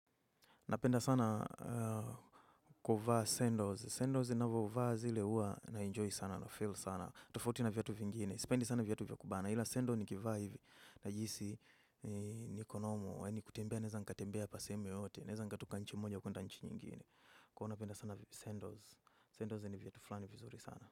Napenda sana kuvaa sandals. Sandals ninavyovaa zile huwa naenjoy sana nafeel sana. Tofauti na viatu vingine. Sipendi sana viatu vya kubana. Ila sandals nikivaa hivi. Najihisi niko normal. Nikitembea. Naeza nikatembea pa sehemu yoyote. Naeza nikatoka nchi moja kwenda nchi nyingine. Kwa hiyo napenda sana sandals Sandals ni viatu flani vizuri sana.